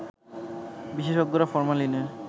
বিশেষজ্ঞরা ফরমালিনের